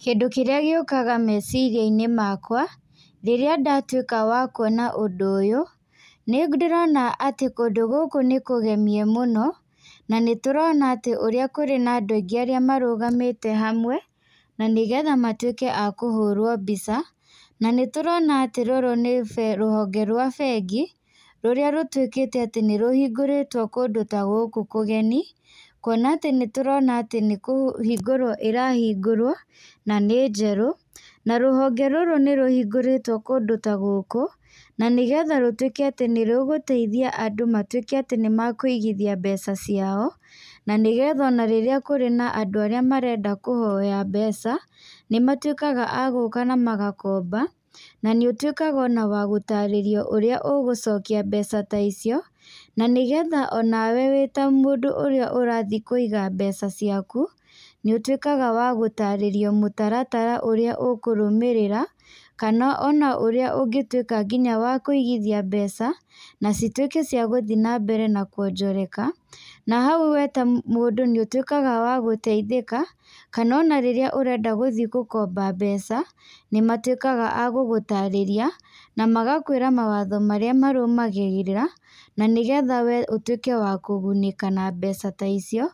Kĩndũ kĩrĩa gĩũkaga meciria-inĩ makwa, rĩrĩa ndatuĩka wa kuona ũndũ ũyũ, nĩ ndĩrona atĩ kũndũ gũkũ nĩ kũgemie mũno, na nĩ tũrona atĩ ũrĩa kũrĩ na andũ aingĩ arĩa marũgamĩte hamwe, na nĩgetha matuĩke a kũhũrwo mbica. Na nĩ tũrona atĩ rũrũ nĩ rũhonge rwa bengi, rũrĩa rũtuĩkĩte atĩ nĩ rũhingũrĩtwo kũndũ ta gũkũ kũgeni, kuona atĩ nĩ tũrona atĩ nĩ kũhingũrwo ĩrahingũrwo, na nĩ njerũ. Na rũhonge rũrũ nĩ rũhingũrĩtwo kũndũ ta gũkũ, na nĩgetha rũtuĩke atĩ nĩ rũgũteithia andũ matuĩke atĩ nĩ makũigithia mbeca ciao, na nĩgetha ona rĩrĩa kũrĩ na andũ arĩa marenda kũhoya mbeca, nĩ matuĩkaga a gũũka na magakomba. Na nĩ ũtuĩkaga ona wa gũtarĩrio ũrĩa ũgũcokia mbeca ta icio, na nĩgetha onwe wĩ ta mũndũ ũrĩa ũrathi kũiga mbeca ciaku, nĩ ũtuĩkaga wa gũtarĩrio mũtaratara ũrĩa ũkũrũmĩrĩra, kana ona ũrĩa ũngĩtuĩka nginya wa kũigithia mbeca, na cituĩke cia gũthi na mbere na kuonjoreka. Na hau we ta mũndũ nĩ ũtuĩkaga wa gũteithĩka, kana ona rĩrĩa ũrenda gũthi gũkomba mbeca, nĩ matuĩkaga a gũgũtarĩria, na magakwĩra mawatho marĩa marũmagagĩrĩra, na nĩgetha we ũtuĩke wa kũgunĩka na mbeca ta icio,